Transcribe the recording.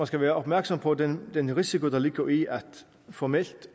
skal være opmærksom på den den risiko der ligger i at formelt